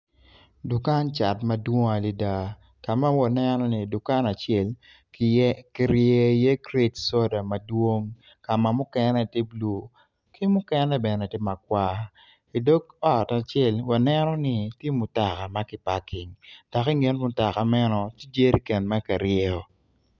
Dukan cat madwong adada ka ma waneno ni dukan acel ki ryeyo i iye kret coda madwong ka ma mukene tye blue ki mukene bene tye makwar idog ot acel wanreno ni tye mutoka ma ki paking dok inget mutoka meno tye jereken ma kiryeyo